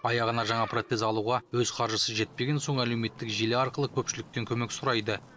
аяғына жаңа протез алуға өз қаржысы жетпеген соң әлеуметтік желі арқылы көпшіліктен көмек сұрайды